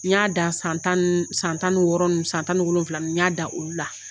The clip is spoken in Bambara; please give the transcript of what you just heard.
N y'a dan san tan ni san tan ni wɔɔrɔ san tan ni wolonwula ninnu n y'a dan olu la